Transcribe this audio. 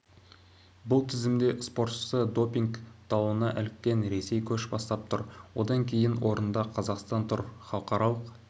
бұл тізімде спортшысы допинг дауына іліккен ресей көш бастап тұр одан кейінгі орында қазақстан тұр халықаралық